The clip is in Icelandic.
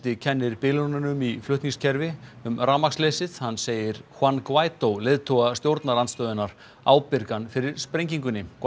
kennir bilunum í flutningakerfi um rafmagnsleysið hann segir Juan Guaidó leiðtoga stjórnarandstöðunnar ábyrgan fyrir sprengingunni